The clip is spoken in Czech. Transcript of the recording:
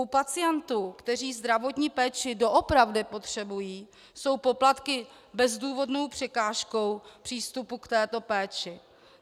U pacientů, kteří zdravotní péči doopravdy potřebují, jsou poplatky bezdůvodnou překážkou přístupu k této péči.